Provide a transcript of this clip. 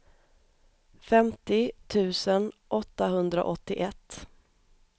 femtio tusen åttahundraåttioett